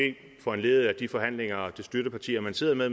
foranlediget af de forhandlinger støttepartierne man sidder med